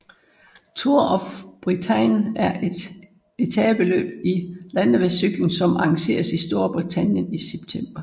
Tour of Britain er et etapeløb i landevejscykling som arrangeres i Storbritannien i september